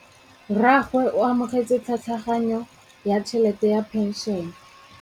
Rragwe o amogetse tlhatlhaganyô ya tšhelête ya phenšene.